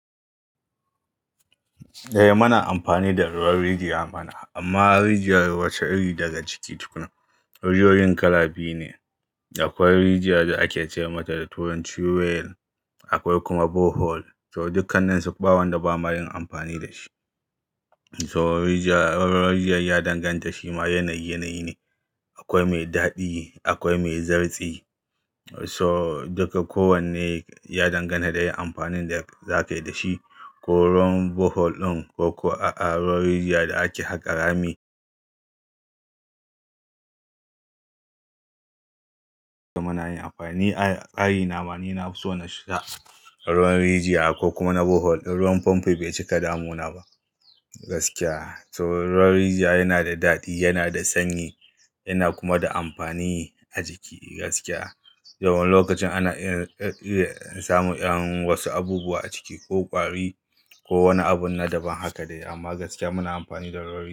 Eh muna amfani da ruwan rijiya mana amma rijiyar wace iri daga ciki tukuna. Rijiyoyin kala biyu ne akwai rijiyar da ake ce mata da turanci well akwai kuma borehole. So dukkan su bawanda bama yin amfani da shi. To rijiya, ruwan rijiya ya danganta shima yanayi, yanayi ne. Akwai mai daɗi akwai mai zartsi. So duka kowanne ya danganta da yin amfanin da zaka yi da shi. Ko ruwan borehole ɗin ko ko a'a ruwan rijiya da ake haƙa rami. Da muna yin amfani a ra'a yi nama. Ni na fiso na sha ruwan rijiya ko kuma na borehole. Ruwan famfo bai cika damu na ba gaskiya. So ruwan rijiya yana da daɗi, yana da sanyi yana kuma da amfani a jiki gaskiya. Wani lokacin ana iya samu wasu abubuwa a ciki ko ƙwari ko wani abun na daban haka dai. Amma gaskiya muna amfani da ruwan rijiya.